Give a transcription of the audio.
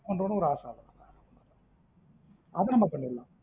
ஒரு ஆசை அவளோ அத நம்ம பன்னீடலாம்